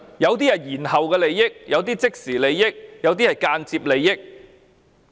有些是延後利益，有些是即時利益，有些是間接利益。